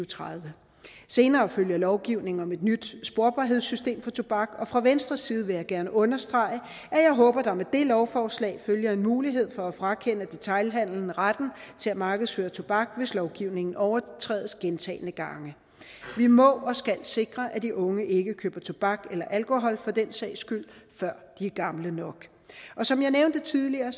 tredive senere følger lovgivning om et nyt sporbarhedssystem for tobak og fra venstres side vil jeg gerne understrege at jeg håber at der med det lovforslag følger en mulighed for at frakende detailhandelen retten til at markedsføre tobak hvis lovgivningen overtrædes gentagne gange vi må og skal sikre at de unge ikke køber tobak eller alkohol for den sags skyld før de er gamle nok som jeg nævnte tidligere